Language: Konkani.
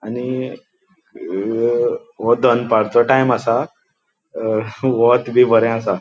आणि आणि अ वो दनपारचो टाइम आसा अ वोंत बी बरे आसा.